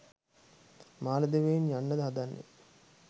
මාලදිවයින් යන්නද හදන්නේ?